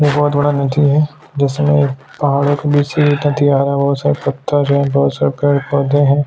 यह बहुत बड़ा नदी है जिसने पहाड़ों के बीच आया हुवा है बहोत से पत्थर है से पेड़ पौधे हैं।